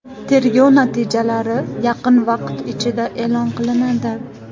Tergov natijalari yaqin vaqt ichida e’lon qilinadi.